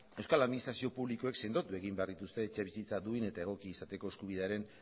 euskal administrazio publikoek sendotu egin behar dituzte etxebizitza duin eta egokia izateko eskubidearen